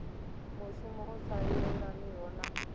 mushumo u sa yelaniho na